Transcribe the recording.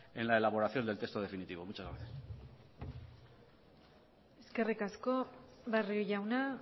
en la elaboración del texto definitivo muchas gracias eskerrik asko barrio jauna